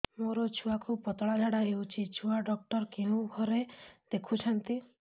ମୋର ଛୁଆକୁ ପତଳା ଝାଡ଼ା ହେଉଛି ଛୁଆ ଡକ୍ଟର କେଉଁ ଘରେ ଦେଖୁଛନ୍ତି